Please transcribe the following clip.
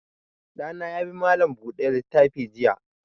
Ɗa na ya bi malam buɗe littafi jiya.